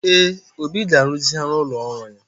Ee, Obi ga-ruzigharị ụlọ ọrụ ya.